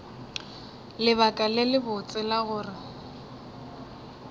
lebaka le lebotse la gore